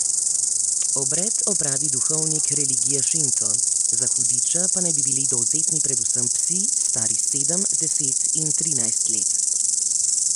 Obred opravi duhovnik religije šinto, za hudiča pa naj bi bili dovzetni predvsem psi, stari sedem, deset in trinajst let.